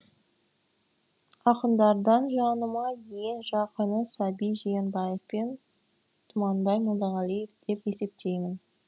ақындардан жаныма ең жақыны саби жиенбаев пен тұманбай молдағалиев деп есептеймін